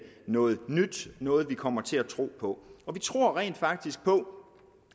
noget nyt noget man kommer til at tro på vi tror rent faktisk på